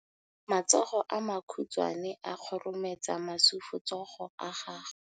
Matsogo a makhutshwane a khurumetsa masufutsogo a gago.